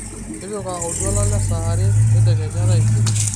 tipika oltuala le saa are tedekenya taisere